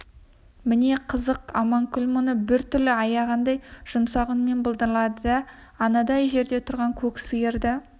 міне қызық аманкүл мұны бір түрлі аяғандай жұмсақ үнмен былдырлады да анадай жерде тұрған көк сиырды